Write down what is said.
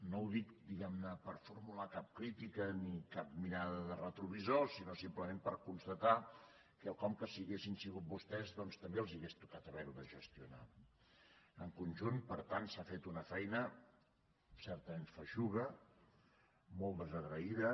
no ho dic diguemne per formular cap crítica ni cap mirada de retrovisor sinó simplement per constatar quelcom que si haguessin sigut vostès també els hauria tocat haverho de gestionar no en conjunt per tant s’ha fet una feina certament feixuga molt desagraïda